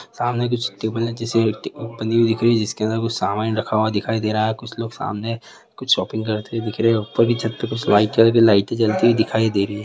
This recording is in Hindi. सामने कुछ टेबल जैसे बानी हुई दिख रही है जिसके अन्दर कुछ सामान रखा हुआ दिखाई दे रहा है कुछ लोग सामने कुछ शोपिंग करते दिख रहे है उपर भी कुछ छत पे वाईट कलर की लाईटे जलती हुए दिखाई दे रही है ।